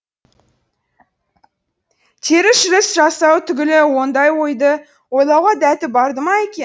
теріс жүріс жасау түгілі ондай ойды ойлауға дәті барды ма екен